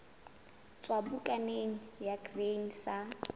tswa bukaneng ya grain sa